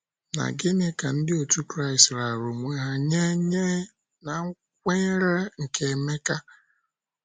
Na gịnị ka Ndị otú Kraịst raara onwe ha nye nye na kwenyere nke Emeka?